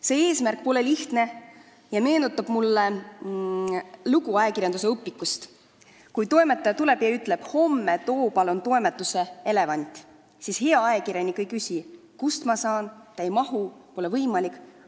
See ülesanne pole lihtne ja meenutab mulle lugu ajakirjandusõpikust: kui peatoimetaja tuleb ja ütleb kellelegi, et homme too palun toimetusse elevant, siis hea ajakirjanik ei küsi, kust ta selle saab, ei ütle, et ta ei mahu siia, pole võimalik.